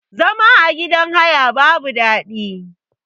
Zama a gidan haya babu daɗi.